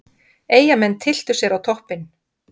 Eyjamenn tylltu sér á toppinn